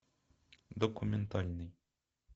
документальный